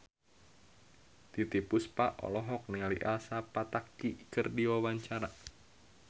Titiek Puspa olohok ningali Elsa Pataky keur diwawancara